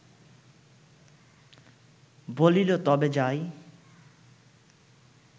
বলিল, তবে যাই